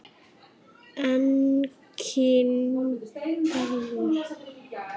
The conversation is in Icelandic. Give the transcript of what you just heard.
Enginn garður.